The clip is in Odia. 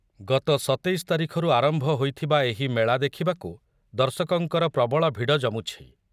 ଗତ ସତେଇଶ ତାରିଖରୁ ଆରମ୍ଭ ହୋଇଥିବା ଏହି ମେଳା ଦେଖିବାକୁ ଦର୍ଶକଙ୍କର ପ୍ରବଳ ଭିଡ଼ ଜମୁଛି।